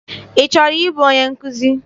Ị chọrọ ịbụ onye nkụzi?